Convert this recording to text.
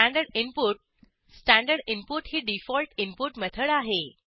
standard input standard input ही default input method आहे